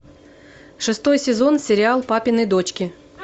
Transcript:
шестой сезон сериал папины дочки